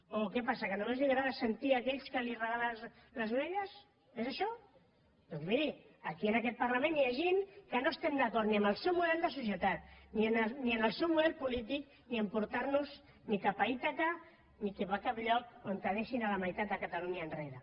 o què passa que només li agrada sentit aquells que li regalen les orelles és això doncs miri aquí en aquest parlament hi ha gent que no estem d’acord ni amb el seu model de societat ni amb el seu model polític ni que ens porti cap a ítaca ni cap a cap lloc on deixin la meitat de catalunya enrere